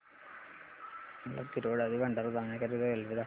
मला तिरोडा ते भंडारा जाण्या करीता रेल्वे दाखवा